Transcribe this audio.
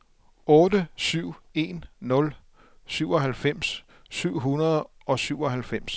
otte syv en nul syvoghalvfems syv hundrede og syvoghalvfems